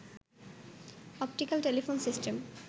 optical telephone system